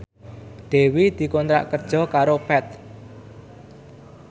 Dewi dikontrak kerja karo Path